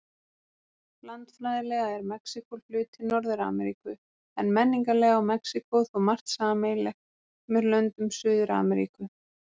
Landfræðilega er Mexíkó hluti Norður-Ameríku, en menningarlega á Mexíkó þó margt sameiginlegt með löndum Suður-Ameríku.